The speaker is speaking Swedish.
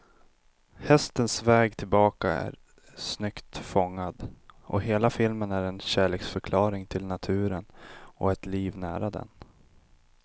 Hästens väg tillbaka är snyggt fångad, och hela filmen är en kärleksförklaring till naturen och ett liv nära den.